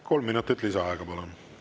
Kolm minutit lisaaega, palun!